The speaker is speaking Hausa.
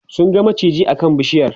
sun ga maciji a kan bishiyar